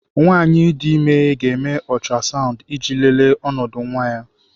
Nwanyị dị ime ga-eme ultrasound iji lelee ọnọdụ nwa ya.